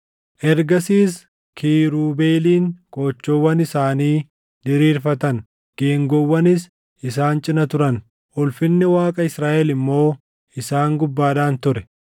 Ergasiis kiirubeeliin qoochoowwan isaanii diriirfatan; geengoowwanis isaan cina turan; ulfinni Waaqa Israaʼel immoo isaan gubbaadhaan ture.